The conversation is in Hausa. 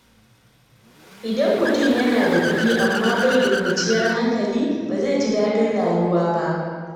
Idan mutum yana da kuɗi amma bai da kwanciyar hankali, ba zai ji daɗin rayuwa ba.